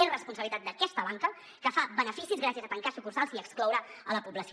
és responsabilitat d’aquesta banca que fa beneficis gràcies a tancar sucursals i a excloure’n la població